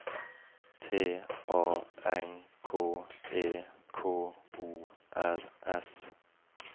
T A N K E K O R S